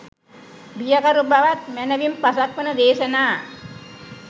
බියකරු බවත් මැනවින් පසක් වන දේශනා